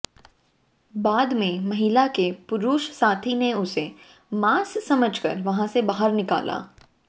बाद में महिला के पुरुष साथी ने उसे मांस समझकर वहां से बाहर निकाला